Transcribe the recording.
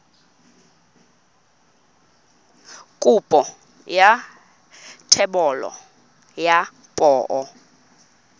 kopo ya thebolo ya poo